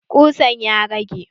Ƙusan ya rage?